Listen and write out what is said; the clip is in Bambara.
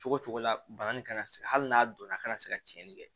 Cogo cogo la bani kana se hali n'a donna kana se ka tiɲɛni kɛ